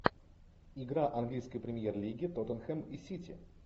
игра английской премьер лиги тоттенхэм и сити